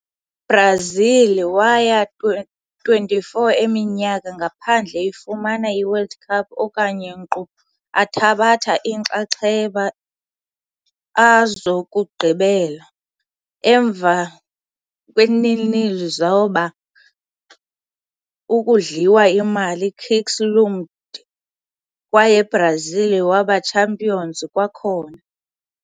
Brazil waya 24 eminyaka ngaphandle ifumana i-World Cup okanye nkqu athabatha inxaxheba a zokugqibela. Emva 0-0 zoba, ukudliwa imali kicks loomed kwaye Brazil waba champions kwakhona.